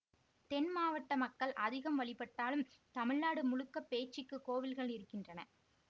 தென்மாவட்ட மக்கள் அதிகம் வழிபட்டாலும் தமிழ்நாடு முழுக்க பேச்சிக்கு கோவில்கள் இருக்கின்றன